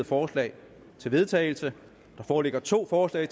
forslag til vedtagelse der foreligger to forslag